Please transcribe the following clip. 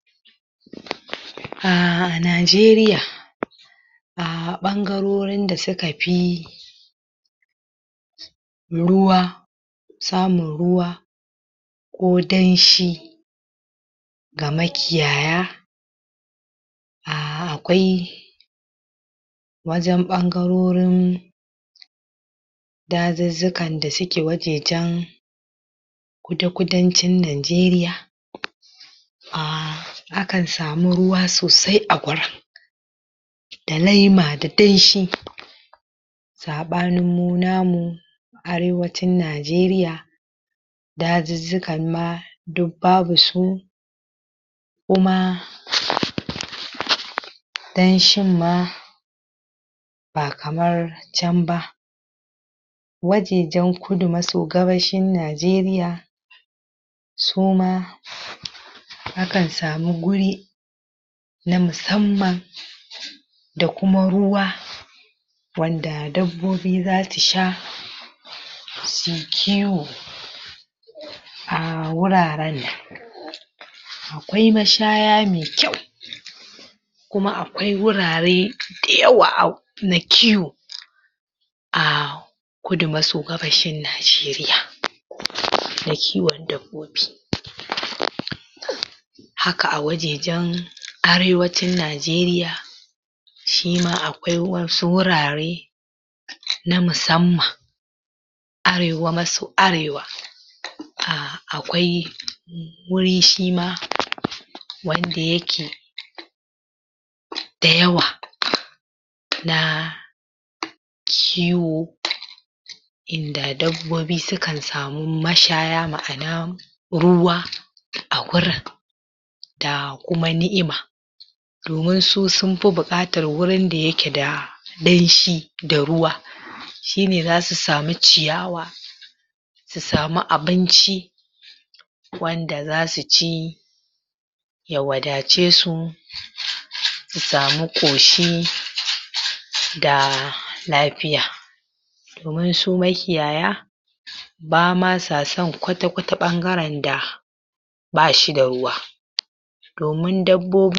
a Najeriya a ɓangarorin da suka fi ruwa samun ruwa ko danshi ga makiyaya um akwai wajen ɓangarorin dazuzzukan da suke wajejen kuda-kudancin Najeriya um akan samu ruwa sosai a gurin da laima da danshi saɓanin mu namu arewacin Najeriya dazuzzukan ma duk babu su kuma danshin ma ba kamar can ba wajejen kudu maso gabashin Najeriya su ma akan samu guri na musamman da kuma ruwa wanda dabbobi zasu sha su yi kiwo a wuraren akwai mashaya me kyau kuma akwai wurare da yawa na kiwo a kudu maso gabashin Najeriya na kiwon dabbobi haka a wajejen arewacin Najeriya shima akwai wasu wurare na musamman arewa maso arewa um akwai wuri shima wanda yake da yawa na kiwo inda dabbobi su kan samu mashaya ma'ana ruwa a gurin da kuma ni'ima domin su sun fi buƙatar wurin da yake da danshi da ruwa shine zasu samu ciyawa su samu abinci wanda zasu ci ya wadace su su samu ƙoshi da lafiya domin su makiyaya ba ma sa son kwata-kwata ɓangaren da ba shi da ruwa domin dabbobi